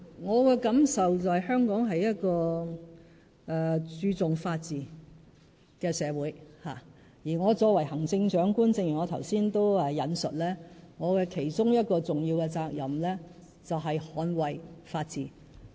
我的感受，就是香港是一個注重法治的社會，而我作為行政長官——正如我剛才也引述——我其中一項重要的責任，就是捍衞法治。